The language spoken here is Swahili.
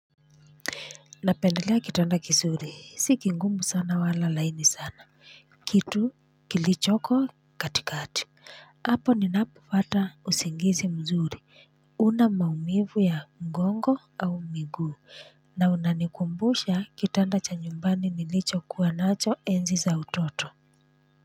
Napendelea kitanda kizuri si kigumu sana wala laini sana kitu kilichoko katikati hapo ninapopata usingizi mzuri. Huna maumivu ya ngongo au miguu na unanikumbusha kitanda cha nyumbani nilicho kuwa nacho enzi za utoto.